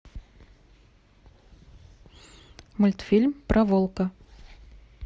мультфильм про волка